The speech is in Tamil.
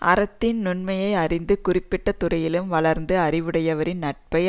அறத்தின் நுண்மையை அறிந்து குறிப்பிட்ட துறையிலும் வளர்ந்த அறிவுடையவரின் நட்பை